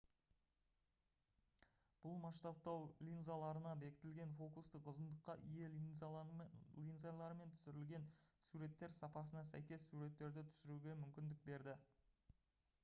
бұл масштабтау линзаларына бекітілген фокустық ұзындыққа ие линзалармен түсірілген суреттер сапасына сәйкес суреттерді түсіруге мүмкіндік берді